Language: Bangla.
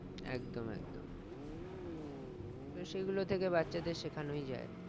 একদম একদম তো সেগুলো থেকে বাচ্চাদের শেখানোই যাই